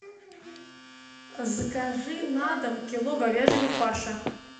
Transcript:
закажи на дом кило говяжьего фарша